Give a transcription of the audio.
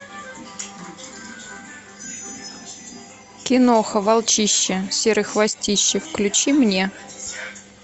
киноха волчище серый хвостище включи мне